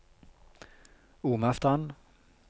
Omastrand